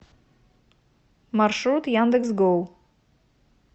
маршрут яндекс гоу